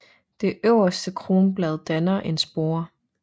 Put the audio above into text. Det øverste kronblad danner en spore